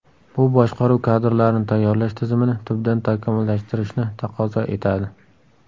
Bu boshqaruv kadrlarini tayyorlash tizimini tubdan takomillashtirishni taqozo etadi.